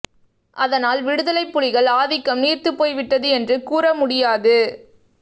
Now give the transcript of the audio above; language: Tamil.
அதனால் விடுதலை புலிகள் ஆதிக்கம் நீர்த்துப் போய்விட்டது என்று கூற முடியாது